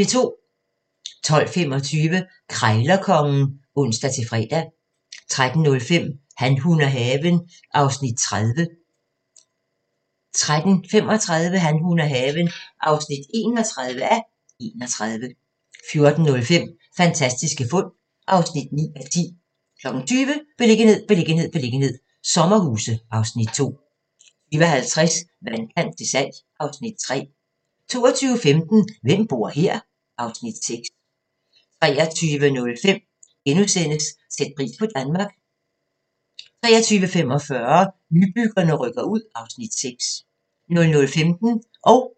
12:25: Krejlerkongen (ons-fre) 13:05: Han, hun og haven (30:31) 13:35: Han, hun og haven (31:31) 14:05: Fantastiske fund (9:10) 20:00: Beliggenhed, beliggenhed, beliggenhed - sommerhuse (Afs. 2) 20:50: Vandkant til salg (Afs. 3) 22:15: Hvem bor her? (Afs. 6) 23:05: Sæt pris på Danmark * 23:45: Nybyggerne rykker ud (Afs. 6) 00:15: Grænsepatruljen